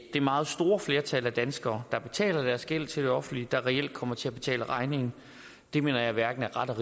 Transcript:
det meget store flertal af danskere der betaler deres gæld til det offentlige der reelt kommer til at betale regningen det mener jeg hverken er ret